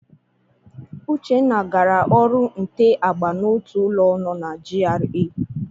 Uchenna gara ọrụ nte agba n'otu ụlọ no na GRA.